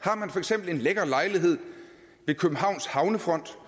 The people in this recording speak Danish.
har man for eksempel en lækker lejlighed ved københavns havnefront